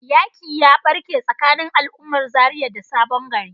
yaƙi ya barke tsakanin al'ummar Zaria da sabon gari.